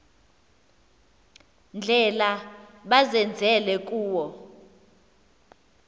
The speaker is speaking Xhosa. ndlela bazenzele kuwo